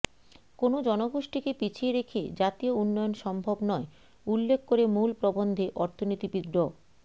কোনো জনগোষ্ঠীকে পিছিয়ে রেখে জাতীয় উন্নয়ন সম্ভব নয় উল্লেখ করে মূল প্রবন্ধে অর্থনীতিবিদ ড